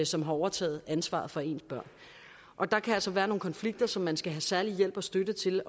som har overtaget ansvaret for ens børn og der kan altså være nogle konflikter som man skal have særlig hjælp og støtte til